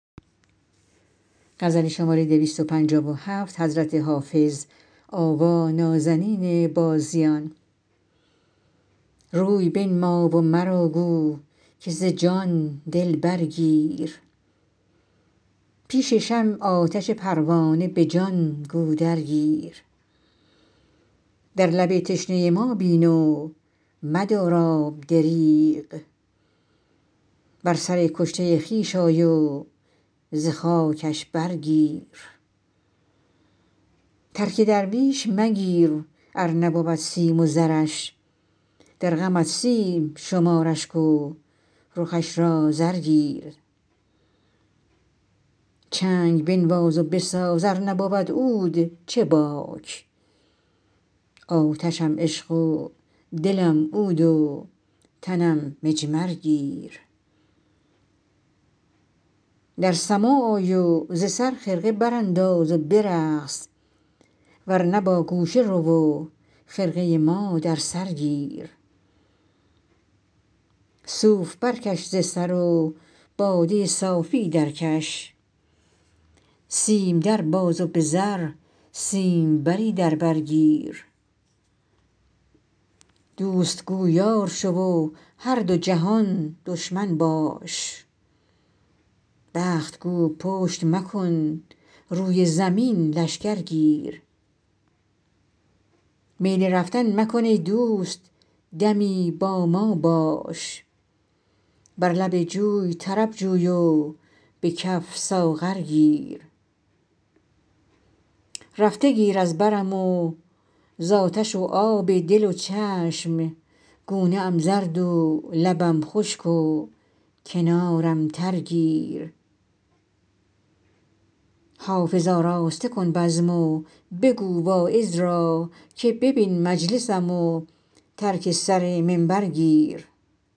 روی بنما و مرا گو که ز جان دل برگیر پیش شمع آتش پروانه به جان گو درگیر در لب تشنه ما بین و مدار آب دریغ بر سر کشته خویش آی و ز خاکش برگیر ترک درویش مگیر ار نبود سیم و زرش در غمت سیم شمار اشک و رخش را زر گیر چنگ بنواز و بساز ار نبود عود چه باک آتشم عشق و دلم عود و تنم مجمر گیر در سماع آی و ز سر خرقه برانداز و برقص ور نه با گوشه رو و خرقه ما در سر گیر صوف برکش ز سر و باده صافی درکش سیم در باز و به زر سیمبری در بر گیر دوست گو یار شو و هر دو جهان دشمن باش بخت گو پشت مکن روی زمین لشکر گیر میل رفتن مکن ای دوست دمی با ما باش بر لب جوی طرب جوی و به کف ساغر گیر رفته گیر از برم و زآتش و آب دل و چشم گونه ام زرد و لبم خشک و کنارم تر گیر حافظ آراسته کن بزم و بگو واعظ را که ببین مجلسم و ترک سر منبر گیر